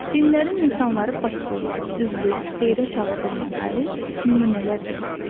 Dinlərin insanları paklığa, düzlüyə, xeyrə çağırdığına dair nümunələr göstər.